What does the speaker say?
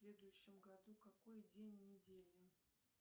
в следующем году какой день недели